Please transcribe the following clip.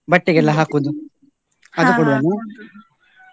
ಬಟ್ಟೆಗೆಲ್ಲ ಹಾಕುದು, ಹಾಗೆ .